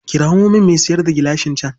Kirawo min mai sayar da gilashin can.